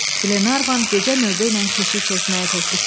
Qlenarvan gecə növbə ilə keşiy çəkməyi təklif etdi.